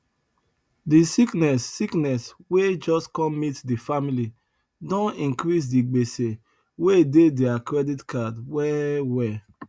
the sickness sickness wey just come meet the family don increase the gbese wey dey their credit card well well